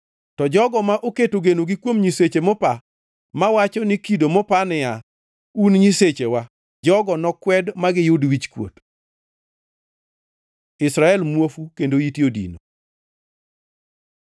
To jogo ma oketo genogi kuom nyiseche mopa, mawacho ni kido mopa niya, Un e nyisechewa, jogo nokwed magiyud wichkuot. Israel muofu kendo ite odino